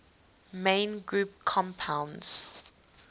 main group compounds